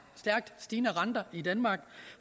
stærkt stigende renter i danmark